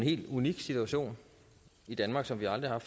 helt unik situation i danmark som vi aldrig har